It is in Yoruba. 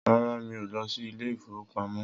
Rara, mi ò lọ sí Ilé-ìfowópamó